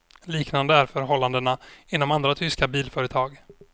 Liknande är förhållandena inom andra tyska bilföretag.